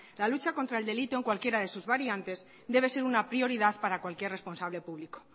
la lucha contra el delito en cualquiera de sus variantes debe ser una prioridad para cualquier responsable público